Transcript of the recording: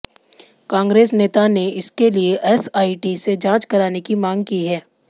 कांग्रेस नेता ने इसके लिए एसआईटी से जांच कराने की मांग की है